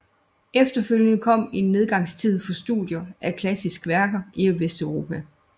Efterfølgende kom en nedgangstid for studier af klassiske værker i Vesteuropa